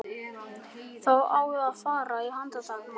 Það á að fara að handtaka mann.